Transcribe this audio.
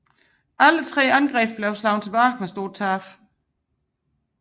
Alle tre angreb blev slået tilbage med store tab